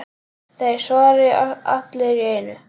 Þeir svara allir í einu.